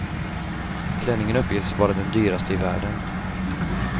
Klänningen uppges vara den dyraste i världen.